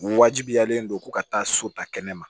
Wajibiyalen don ko ka taa so ta kɛnɛ ma